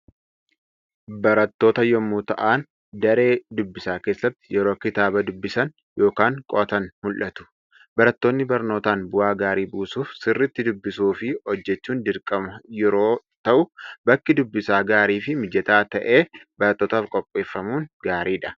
Barattoota yommuu ta'an, daree dubbisaa keessatti yeroo kitaaba dubbisan yookaan qo'atan mul'atu. Barattoonni barnootaan bu'aa gaarii buusuuf sirriitti dubbisuu fi hojjechuun dirqama yeroo ta'u bakki dubbisaa gaarii fi mijataa ta'e barattootaaf qopheeffamuun gaariidha.